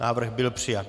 Návrh byl přijat.